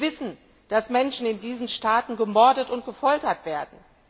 Wir wissen, dass Menschen in diesen Staaten gemordet und gefoltert werden.